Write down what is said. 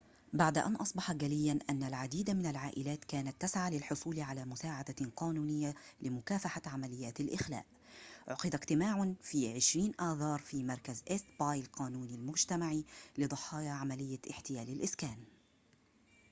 بعد أن أصبح جلياً أن العديد من العائلات كانت تسعى للحصول على مساعدة قانونية لمكافحة عمليات الإخلاء عُقد اجتماع في 20 آذار في مركز إيست باي القانوني المجتمعي لضحايا عملية احتيال الإسكان